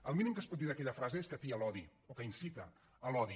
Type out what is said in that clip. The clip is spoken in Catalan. el mínim que es pot dir d’aquella frase és que atia l’odi o que incita a l’odi